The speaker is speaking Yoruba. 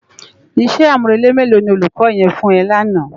Isè ámúrélé mélò ni ólúkò yèn fún è làná?